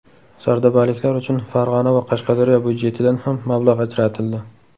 Sardobaliklar uchun Farg‘ona va Qashqadaryo budjetidan ham mablag‘ ajratildi.